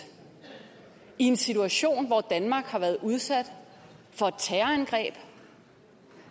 i en situation hvor danmark har været udsat for et terrorangreb